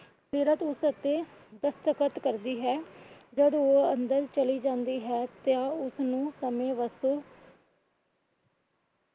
ਸੀਰਤ ਉਸ ਉੱਤੇ ਦਸਖ਼ਤ ਕਰਦੀ ਹੈ। ਜਦ ਉਹ ਅੰਦਰ ਚਲੀ ਜਾਂਦੀ ਹੈ ਤਾਂ ਉਸ ਨੂੰ